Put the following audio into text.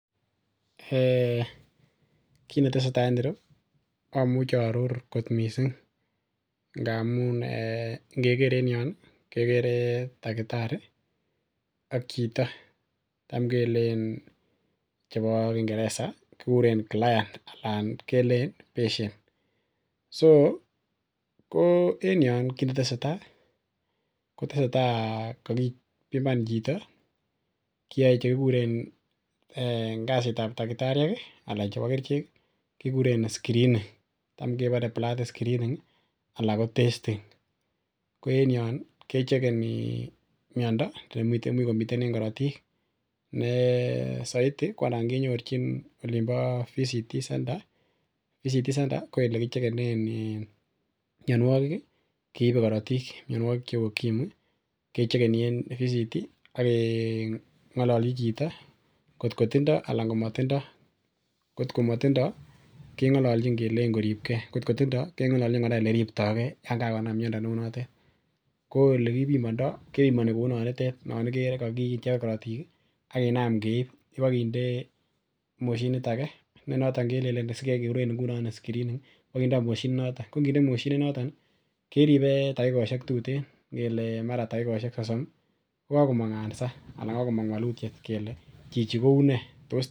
[um]koamuchearor kot missing ndamuun ingeker enion kekere takitariak chito chamkelen chebo kingereza client anan keleen patient so en yoon kinetesetai kakibiman chito kiae chekikuren en kasitab takitariek anan chebo kerichek screening anan test screening ko enion kechegeni miando nemite en korotiik nee saiti kinyorchi voluntary counseling and testing center voluntary counseling and testing center koyebe korotiik mianikik cheuu ukimwi, kechegeni en voluntary counseling and testing center ak keng'alal chi chito kot ko tindoo anan komatindoo kot ko matindio keng'alalnchin kelein koribke anan kot kotinye kelenjin koribke simanam miando neuunoton ko elekibimondo kebimani kou yoonikere korotiik akinam keib mochinit age nekikuren screening kibokindoo mochinit noto ko inginde mochinit noto keribe takikoshek tuten kukokomong answer anan kokakomong walutiet kele chichi koune.